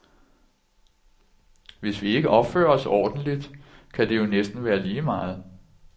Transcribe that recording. Hvis vi ikke opfører os ordentlig, kan det jo næsten være lige meget.